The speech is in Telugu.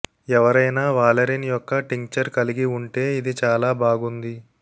ఎవరైనా వాలెరిన్ యొక్క టింక్చర్ కలిగి ఉంటే ఇది చాలా బాగుంది